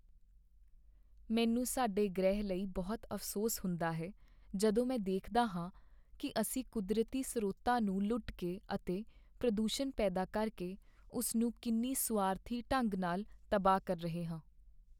ਮੈਨੂੰ ਸਾਡੇ ਗ੍ਰਹਿ ਲਈ ਬਹੁਤ ਅਫ਼ਸੋਸ ਹੁੰਦਾ ਹੈ ਜਦੋਂ ਮੈਂ ਦੇਖਦਾ ਹਾਂ ਕੀ ਅਸੀਂ ਕੁਦਰਤੀ ਸਰੋਤਾਂ ਨੂੰ ਲੁੱਟ ਕੇ ਅਤੇ ਪ੍ਰਦੂਸ਼ਣ ਪੈਦਾ ਕਰਕੇ ਉਸ ਨੂੰ ਕਿੰਨੀ ਸੁਆਰਥੀ ਢੰਗ ਨਾਲ ਤਬਾਹ ਕਰ ਰਹੇ ਹਾਂ।